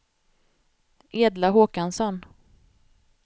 Edla Håkansson